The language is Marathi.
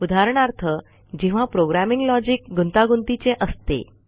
उदाहरणार्थ जेव्हा प्रोग्रॅमिंग लॉजिक गुंतागुंतीचे असते